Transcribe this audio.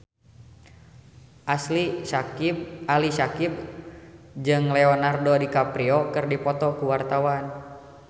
Ali Syakieb jeung Leonardo DiCaprio keur dipoto ku wartawan